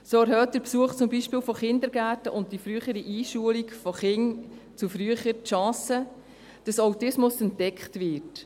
So erhöht zum Beispiel der Besuch von Kindergärten und die frühere Einschulung von Kindern gegenüber früher die Chance, dass Autismus entdeckt wird.